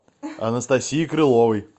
анастасии крыловой